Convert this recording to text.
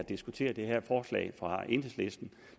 diskuteret det her forslag fra enhedslisten